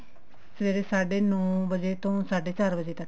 ਸਵੇਰੇ ਸਾਢੇ ਨੋ ਵਜੇ ਤੋਂ ਸਾਢੇ ਚਾਰ ਵਜੇ ਤੱਕ